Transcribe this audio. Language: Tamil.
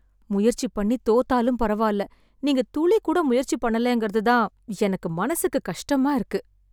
முயற்சி பண்ணித் தோத்தாலும் பரவால்ல. நீங்க துளி கூட முயற்சி பண்ணலேங்கறது தான் எனக்கு மனசுக்குக் கஷ்டமா இருக்கு.